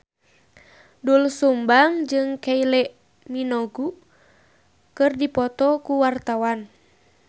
Doel Sumbang jeung Kylie Minogue keur dipoto ku wartawan